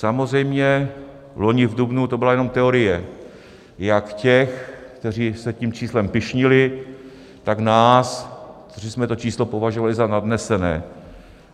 Samozřejmě, loni v dubnu to byla jenom teorie jak těch, kteří se tím číslem pyšnili, tak nás, kteří jsme to číslo považovali za nadnesené.